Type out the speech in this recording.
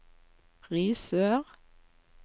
Risør